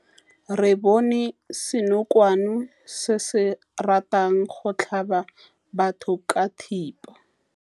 Re bone senokwane se se ratang go tlhaba batho ka thipa.